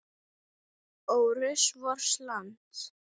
Ó rusl vors lands.